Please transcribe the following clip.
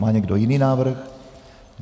Má někdo jiný návrh?